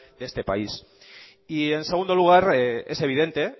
de este país y en segundo lugar es evidente